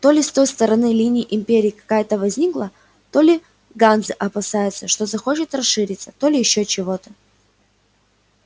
то ли с той стороны линии империя какая-то возникла то ли ганзы опасаются что захочет расшириться то ли ещё чего-то